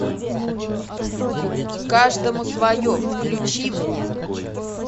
каждому свое включи мне